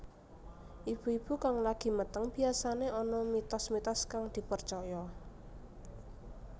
Ibu ibu kang lagi meteng biyasané ana mitos mitos kang dipercaya